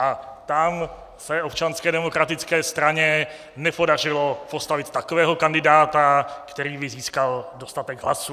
A tam se Občanské demokratické straně nepodařilo postavit takového kandidáta, který by získal dostatek hlasů.